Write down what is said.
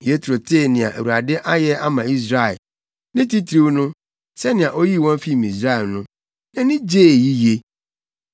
Yetro tee nea Awurade ayɛ ama Israel, ne titiriw no, sɛnea oyii wɔn fii Misraim no, nʼani gyee yiye.